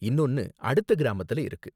இன்னொன்னு அடுத்த கிராமத்துல இருக்கு.